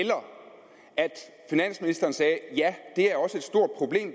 finansministeren sagde ja